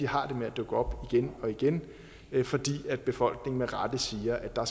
har det med at dukke op igen og igen fordi befolkningen med rette siger at der